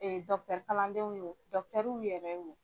Ee kalandenw yo yɛrɛ wo.